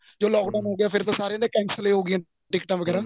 ਜਦੋਂ lock down ਹੋ ਗਿਆ ਫੇਰ ਤਾਂ ਸਾਰੇ ਦੀਆਂ cancel ਹੀ ਹੋਗਿਆ ਟਿਕਟਾ ਵਗੇਰਾ